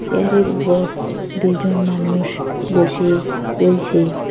চেয়ারের উপর দুইজন মানুষ বসে রয়েছে।